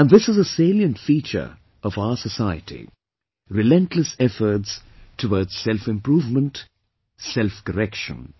And this is a salient feature of our society... relentless efforts towards selfimprovement, self correction